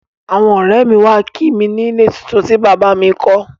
Àwọn ọ̀rẹ́ mi wá kí wa ni ilé tuntun tí bàbá a mi kọ́